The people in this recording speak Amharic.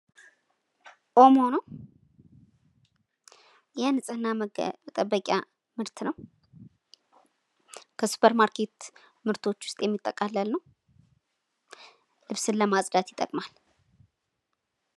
ኦሞ ነው። የንጽሕና መጠበቂያ ምርት ነው። ከሱፐር ማርኬት ምርቶች ውስጥ የሚጠቃለል ነው። ልብስን ለማጽዳት ይጠቅማል።